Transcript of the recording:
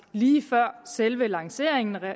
lige før selve lanceringen af